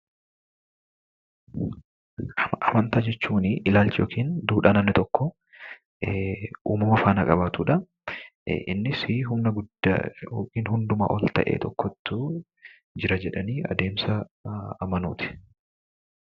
Amantaa jechuuni ilaalcha yookiin duudhaa namni tokko uummama faana qabaatudha. Innisii humna guddaa yookiin hundumaan ol ta'e tokkotu jira jedhanii adeemsa amanuuti.